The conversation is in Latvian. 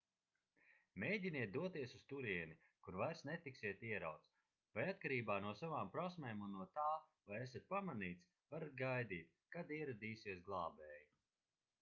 mēģiniet doties uz turieni kur vairs netiksiet ierauts vai atkarībā no savām prasmēm un no tā vai esat pamanīts varat gaidīt kad ieradīsies glābēji